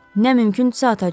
Nə mümkündürsə atacağıq.